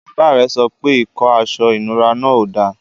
Bàbá rẹ̀ sọ pé ikó àṣọ ìnúrà náà ó dá.